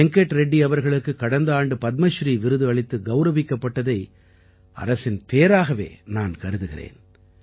வெங்கட் ரெட்டி அவர்களுக்குக் கடந்த ஆண்டு பத்மஸ்ரீ விருது அளித்து கௌரவிக்கப்பட்டதை அரசின் பேறாகவே நான் கருதுகிறேன்